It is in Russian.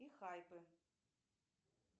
и хайпы